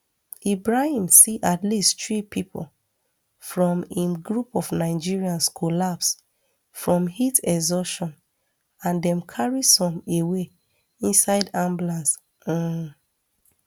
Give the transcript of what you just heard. ibrahim see at least three pipo from im group of nigerians collapse from heat exhaustion and dem carry some away inside ambulance um